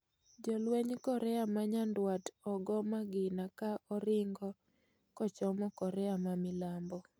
Jalwenj Korea ma nyadwat ogoo magina ka oringo kochomo Korea ma milambo